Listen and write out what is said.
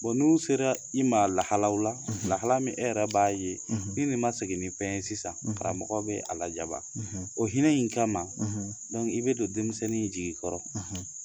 n'u sera i ma lahalaw la, lahala min e yɛrɛ b'a ye ni nin ma segin fɛn ye sisan karamɔgɔ bɛ a lajaba, o hinɛ in kama, i bɛ don denmisɛnnin jigi kɔrɔ